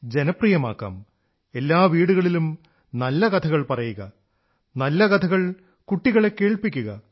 ജനപ്രിയമാക്കാം എല്ലാ വീടുകളിലും നല്ല കഥകൾ പറയുക നല്ല കഥകൾ കുട്ടികളെ കേൾപ്പിക്കുക